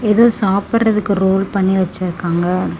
இத சாப்பிடறதுக்கு ரோல் பண்ணி வெச்சிருக்காங்க.